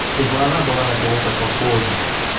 чтобы она была на кого-то похожа